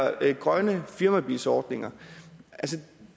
grønne firmabilsordninger